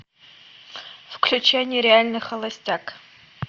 включай нереальный холостяк